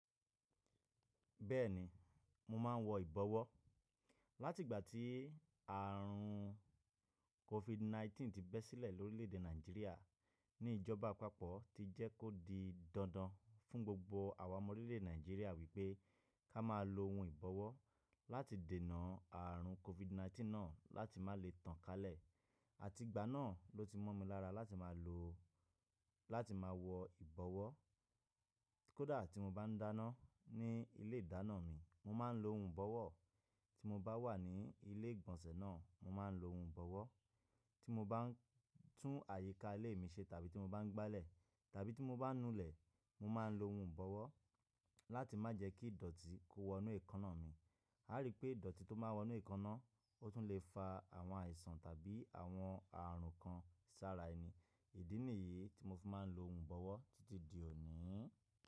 Bẹ́ẹ̀ni, mo máa ń wọ ìbọwọ́. Láti ìgbà tí ààrùn COVID 19 ti bẹ́ sílẹ̀ lórílẹ̀ èdè Nàìjíríà, ní ìjọba àpapọ̀ ti jẹ́ kó di dandan fún gbogbo àwa ọmọ orílẹ̀ èdè Nàìjíríà wípé ká máa lo ohun ìbọwọ́ láti dènà ààrùn COVID 19 náà láti má lè tàn kálẹ̀. Àti ìgbà náà ló ti mọ́ mi lára láti máa lo, láti máa wọ ìbọwọ́. Kódà tí mo bá ń dáná ní ilé ìdáná mi, mo máa ń lo ohun ìbọwọ́. Tí mo bá wà ní ilé ìgbọ̀nsẹ̀ náà, mo máa ń lo ohun ìbọwọ́. Tí mo bá ń tún àyíká ilé mi ṣe tàbí tí mo bá ń gbálẹ̀ tàbí tí mo bá ń nulẹ̀, mo máa ń lo ohun ìbọwọ́ láti má jẹ́ kí ìdọ̀tí kó wọ inú èékánná mi. A rí pé ìdọ̀tí tó máa wọ inú èékánná, ó tún le fa àwọn àìsàn tàbí àwọn ààrùn kan sára ẹni. Ìdí nìyí tí mo fi máa ń lo ohun ìbọwọ́ títí di òní.